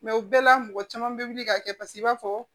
o bɛɛ la mɔgɔ caman bɛ wuli ka kɛ paseke i b'a fɔ